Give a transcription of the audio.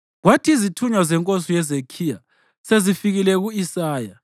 Kwathi izithunywa zenkosi uHezekhiya sezifikile ku-Isaya,